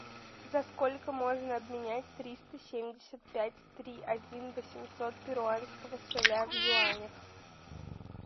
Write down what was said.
за сколько можно обменять триста семьдесят пять три один восемьсот перуанского соля в юанях